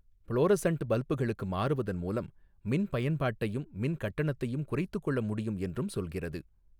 Florissant பல்புகளுக்கு மாறுவதன் மூலம் மின் பயன்பாட்டையும் மின்கட்டணத்தையும் குறைத்துக்கொள்ள முடியும் என்றும் சொல்கிறது.